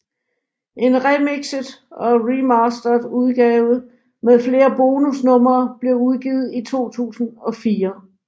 En remikset og remastered udgave med flere bonusnumre blev udgivet i 2004